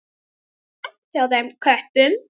Ekki slæmt hjá þeim köppum.